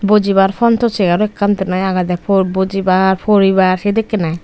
bojibar front o chair ekkan din noi agede bojibar poribar sedekkin ai.